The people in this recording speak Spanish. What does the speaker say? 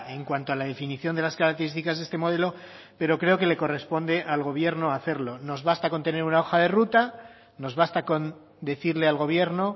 en cuanto a la definición de las características de este modelo pero creo que le corresponde al gobierno hacerlo nos basta con tener una hoja de ruta nos basta con decirle al gobierno